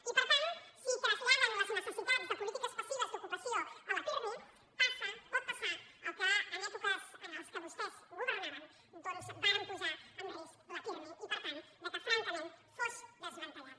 i per tant si traslladen les necessitats de polítiques passives d’ocupació al pirmi passa pot passar el que en èpoques en què vostès governaven doncs varen posar en risc el pirmi i per tant que francament fos desmantellat